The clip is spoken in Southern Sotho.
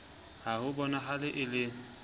ha ho bonahale e le